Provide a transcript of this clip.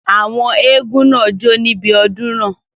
Àwọn eégún náà jó níbi odun náà